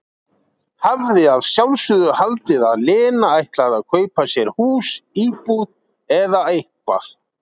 Hafði að sjálfsögðu haldið að Lena ætlaði að kaupa sér hús, íbúð, eða eitthvað.